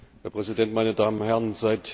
Herr Präsident, meine Damen und Herren!